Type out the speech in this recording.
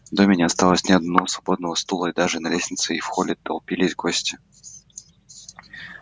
в доме не осталось ни одного свободного стула и даже на лестнице и в холле толпились гости